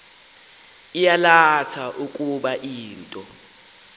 yalatha ukuba into